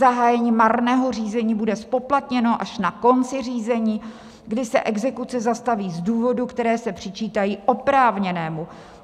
Zahájení marného řízení bude zpoplatněno až na konci řízení, kdy se exekuce zastaví z důvodů, které se přičítají oprávněnému.